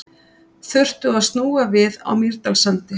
Þurftu að snúa við á Mýrdalssandi